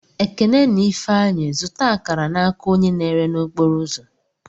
Ekene na Ifeanyi zụta akara n'aka onye na-ere okporo ụzọ.